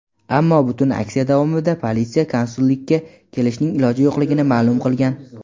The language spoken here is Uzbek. ammo butun aksiya davomida politsiya konsullikka kelishning iloji yo‘qligini ma’lum qilgan.